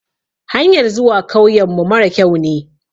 Hanyar zuwa kauyen mu mara kyau ne.